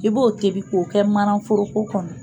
I b'o tebi k'o kɛ mananforoko kɔnɔ